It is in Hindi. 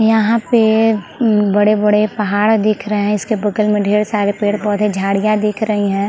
यहाँ पे अम्म बड़ॆ -बड़े पहाड़ दिख रहे है इसके बगल में ढेर सारे पेड़ -पौधे झाड़ियाँ दिख रही हैं ।